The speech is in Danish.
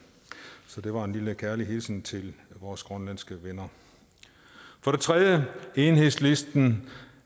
så det var en lille kærlig hilsen til vores grønlandske venner enhedslisten